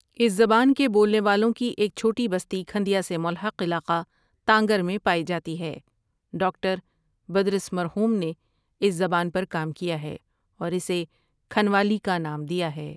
اس زبان کے بولنے والوں کی ایک چھوٹی بستی کھندیا سے ملحق علاقہ تانگر میں پائی جاتی ہے ڈاکٹر بدرس مرحوم نے اس زبان پر کام کیا ہے اور اسے کھنوالی کا نام دیا ہے ۔